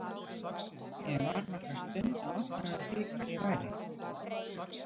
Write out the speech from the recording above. Ég var nokkra stund að átta mig á því hvar ég væri.